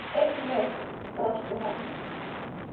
Einmitt, brosti hann.